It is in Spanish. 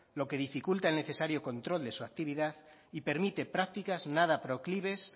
lo que dificulta el necesario control de su actividad y permite prácticas nada proclives